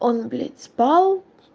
он спал